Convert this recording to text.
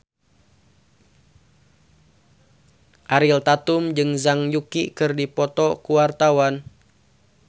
Ariel Tatum jeung Zhang Yuqi keur dipoto ku wartawan